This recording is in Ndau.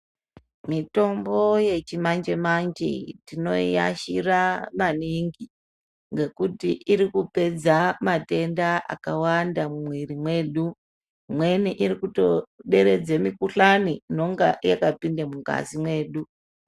Mitombo yechimanje manje tinoashira maningi ngekuti iri kupedza matenda akawanda mumwiri mwedu. Imweni iri kutoderedze mikhuhlani inonge yakapinda mungazi mwedu.